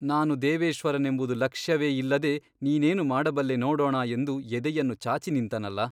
ನಾನು ದೇವೇಶ್ವರನೆಂಬುದು ಲಕ್ಷ್ಯವೇ ಇಲ್ಲದೆ ನೀನೇನು ಮಾಡಬಲ್ಲೆ ನೋಡೋಣ ಎಂದು ಎದೆಯನ್ನು ಚಾಚಿ ನಿಂತನಲ್ಲ !